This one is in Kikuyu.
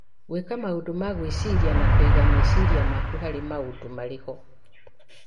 Gwĩka maũndũ ma gwĩciria na kũiga meciria maku harĩ maũndũ marĩa marĩ ho